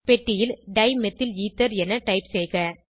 பெட்டியில் டைமிதைலத்தர் என டைப் செய்க